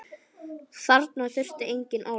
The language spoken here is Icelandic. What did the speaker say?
Þarna þurfti engin orð.